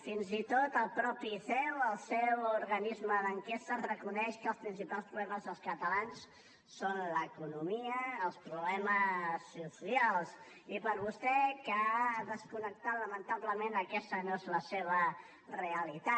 fins i tot el mateix ceo el seu organisme d’enquestes reconeix que els principals problemes dels catalans són l’economia els problemes socials i per vostè que ha desconnectat lamentablement aquesta no és la seva realitat